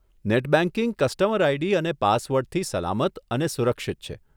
Net banking customer ID અને પાસવર્ડથી સલામત અને સુરક્ષિત છે.